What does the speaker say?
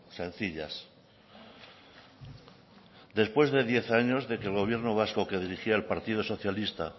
sencillas después de diez años de que el gobierno vasco que dirigía el partido socialista